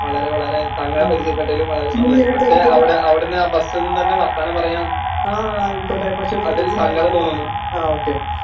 വളരെ വളരെ താങ്കളെ പരിചയപ്പെട്ടതിലും വളരെ സന്തോഷം പക്ഷേ അവടെ അവടുന്ന് ആ ബസ്സ്‌ന്ന് തന്നെ വർത്താനം പറയാൻ അതിൽ സങ്കടം തോന്നുന്നു